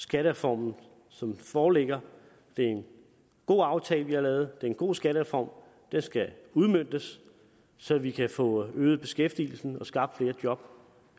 skattereformen som den foreligger det er en god aftale vi har lavet det er en god skattereform og den skal udmøntes så vi kan få øget beskæftigelsen og skabt flere job